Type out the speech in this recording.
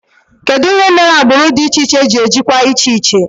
Kedụ ihe mere agbụrụ dị iche iche ji ejikwa iche iche?